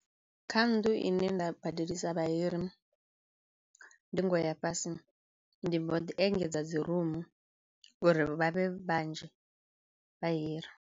Kha nnḓu ine nda badelisa vhahiri ndingo ya fhasi ndi mbo ḓi engedza dzi rumu uri vhavhe vhanzhi vha hiri.